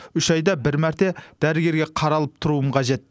үш айда бір мәрте дәрігерге қаралып тұруым қажет